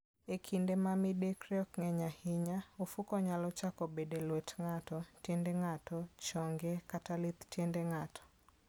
E kinde ma midekre ok ng'eny ahinya, ofuko nyalo chako bedo e lwet ng'ato, tiend ng'ato, chonge, koda lith tiende ng'ato.